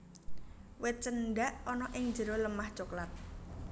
Wit Cendak ana ing jero lemah coklat